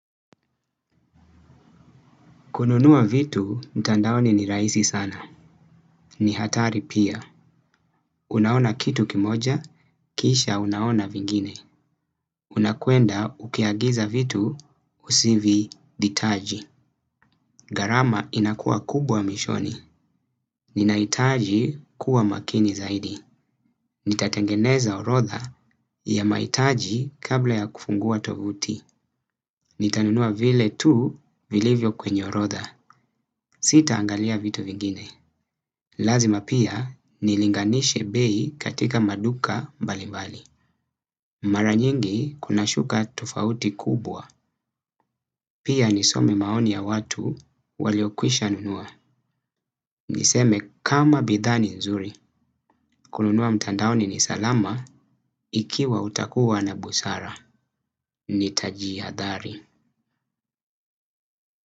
Kununua vitu, ntandaoni ni raisi sana. Ni hatari pia. Unaona kitu kimoja, kisha unaona vingine. Unakuenda ukiagiza vitu, usivihitaji. Garama inakua kubwa mishoni. Ninaitaji kuwa makini zaidi. Ni tatengeneza orotha ya maitaji kabla ya kufungua tovuti. Ni tanunua vile tu vilivyo kwenye orotha. Sita angalia vitu vingine. Lazima pia nilinganishe bei katika maduka mbalimbali. Maranyingi kunashuka tofauti kubwa. Pia nisome maoni ya watu waliokwisha nunua. Niseme kama bidha ni nzuri. Kununua mtandaoni ni salama ikiwa utakuwa na busara. Nitajiyadhari.